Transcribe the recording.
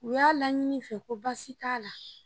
U y'a laɲini n fɛ ko baasi t'a la.